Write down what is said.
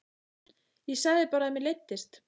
Ég sagði bara að mér leiddist.